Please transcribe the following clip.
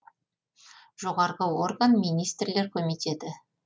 жоғарғы орган министрлер комитеті